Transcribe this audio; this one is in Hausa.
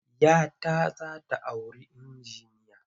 Ya ta za ta auri injiniya.